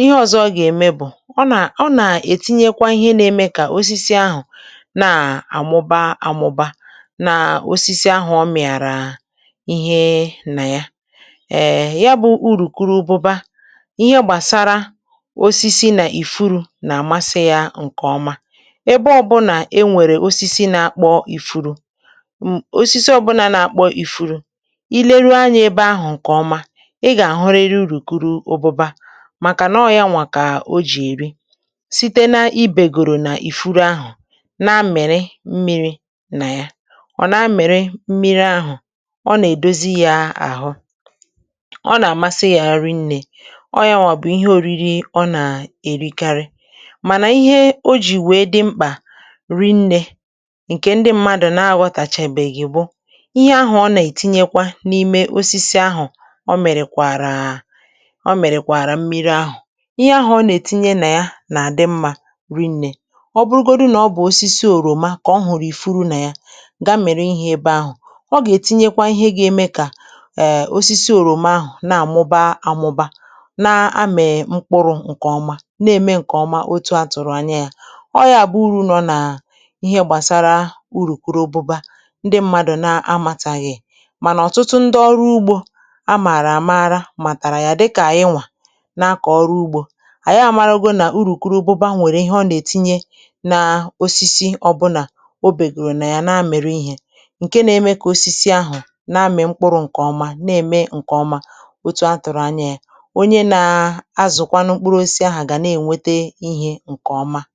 ihe ọzọ ọ na-eme bụ na ọ na-etinye ihe na-eme ka osisi ahụ too ma mụba, um ma mee ka osisi ahụ mịpụta mkpụrụ, mkpụrụ. Nke a bụ uru nectar. Ebe ọbụla enwere osisi na-apụta ifuru, um ma ọ bụrụ na ị lechaa anya nke ọma, ị ga-ahụ nectar, n’ihi na ya bụ ihe ụ̀rùkụrụ ụ̀bụba na-eri. Ha na-aṅụ n’ifuru ahụ, ọ na-enye ha mmịrị. Mgbe ha ṅụrụ mmịrị ahụ, ọ na-enye ha ike, um ma ha na-enwe obi ụtọ. Ọ bụ nri ha na-eri ugboro ugboro, ugboro ugboro. Ihe ọtụtụ mmadụ anaghị aghọta bụ na nectar a na-etinye ya n’ime osisi, um ma mgbe ọ na-apụta, ọ na-ejikọta ya na mmiri. Ihe a na-emepụta n’ime ya na-abụ ihe ọma ma na-enyere aka. Ọbụlagodi ma ọ bụrụ na ọ bụ osisi oroma, um ozugbo ifuru pụtara, nectar na-apụta. Nectar a bụ nke na-eme ka osisi oroma too nke ọma, ma mịpụta mkpụrụ ọma, mkpụrụ ọma. Nke a bụ ihe atụ nke ihe nectar na-eme. Ọtụtụ mmadụ amaghị nke a, um ma ọtụtụ ndị ọrụ ugbo maara nke ọma. Ha maara na nectar nwere ihe ọ na-etinye n’ime osisi ọ bụla ọ bata n’ime ya, um na nke a na-eme ka osisi ahụ mịpụta mkpụrụ ọma, mkpụrụ ọma. Ya mere onye ọ bụla na-akọ ma ọ bụ na-akụ mkpụrụ osisi ga-erite uru n’ime ya. Nke a bụ nkọwa nke ihe nectar na-eme.